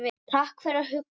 Takk fyrir að hugga mig.